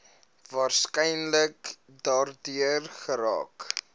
waarskynlik daardeur geraak